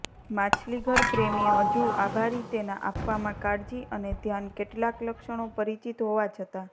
માછલીઘરપ્રેમી હજુ આભારી તેના આપવામાં કાળજી અને ધ્યાન કેટલાક લક્ષણો પરિચિત હોવા છતાં